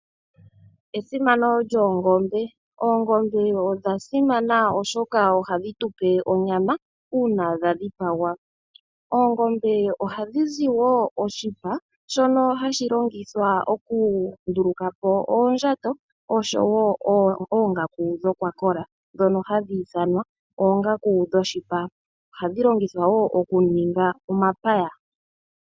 Esimano lyoongombe, oongombe odha simana oshoka ohadhi tupe onyama uuna dha dhipagwa. Oongombe ohadhi zi wo oshipa shono hashi longithwa oku nduluka po oondjato osho wo oongaku dhokwakola dhono hadhi ithanwa oongaku dhoshipa. Ohadhi longithwa wo oku ninga omapaya.